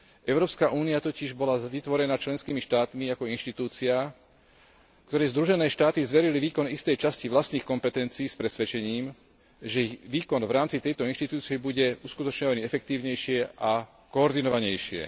Európska únia totiž bola vytvorená členskými štátmi ako inštitúcia, ktorej združené štáty zverili výkon istej časti vlastných kompetencií s presvedčením, že ich výkon v rámci tejto inštitúcie bude uskutočňovaný efektívnejšie a koordinovanejšie.